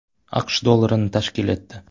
AQSh dollarini tashkil etdi.